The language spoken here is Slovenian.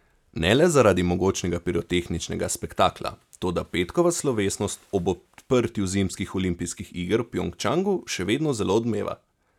Ne le zaradi mogočnega pirotehničnega spektakla, toda petkova slovesnost ob odprtju zimskih olimpijskih iger v Pjongčangu še vedno zelo odmeva.